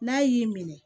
N'a y'i minɛ